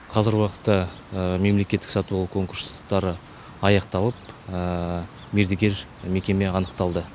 қазіргі уақытта мемлекеттік сатып алу конкурстары аяқталып мердігер мекеме анықталды